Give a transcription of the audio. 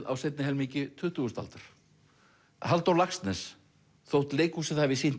á seinni helmingi tuttugustu aldar Halldór Laxness þótt leikhúsið hafi sýnt